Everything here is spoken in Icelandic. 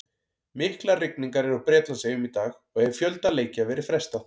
Miklar rigningar eru á Bretlandseyjum í dag og hefur fjölda leikja verið frestað.